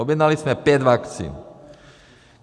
Objednali jsme pět vakcín.